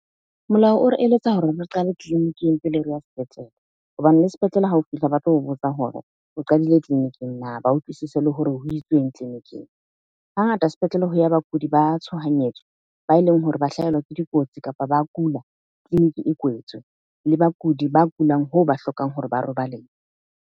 Molao o re eletsa hore re qale tleliniking pele re ya sepetlele, hobane le sepetlele hao fihla ba tlo o botsa hore o qadile tleliniking na? Ba utlwisise le hore ho itsweng tleliniking. Hangata sepetlele ho ya bakudi ba tshohanyetso ba e leng hore ba hlahelwa ke dikotsi kapa ba kula tleliniki e kwetswe. Le bakudi ba kulang hoo ba hlokang hore ba .